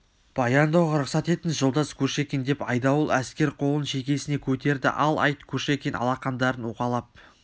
баяндауға рұқсат етіңіз жолдас кушекин деп айдауыл әскер қолын шекесіне көтерді ал айт кушекин алақандарын уқалап